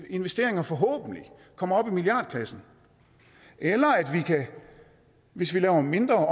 investeringer forhåbentlig kommer op i milliardklassen eller at vi hvis vi laver mindre